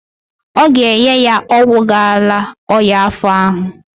Ọ ga-enye ya ọgwụ ga-ala ọnya afọ ahụ.